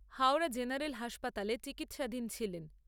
Howrah general হাসপাতালে চিকিৎসাধীন ছিলেন।